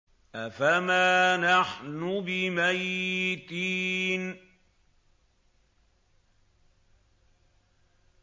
أَفَمَا نَحْنُ بِمَيِّتِينَ